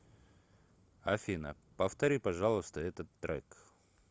афина повтори пожалуйста этот трек